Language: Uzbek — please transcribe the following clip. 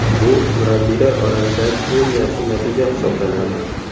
Bu murabbiylar orasidagi eng yaxshi natija hisoblanadi.